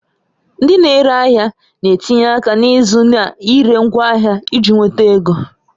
Ndị na-ere ahịa na-etinye aka n'ịzụ na ire ngwaahịa iji nweta ego